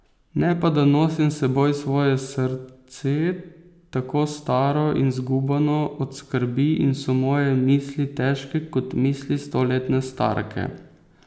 Ne pa da nosim s seboj svoje srce, tako staro in zgubano od skrbi in so moje misli težke kot misli stoletne starke.